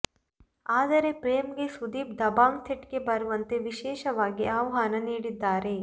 ಆದ್ರೆ ಪ್ರೇಮ್ ಗೆ ಸುದೀಪ್ ದಬಂಗ್ ಸೆಟ್ ಗೆ ಬರುವಂತೆ ವಿಶೇಷವಾಗಿ ಆಹ್ವಾನ ನೀಡಿದ್ದಾರೆ